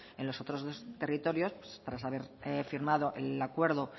en los otros dos territorios tras haber firmado el acuerdo